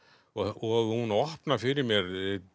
og hún opnar fyrir mér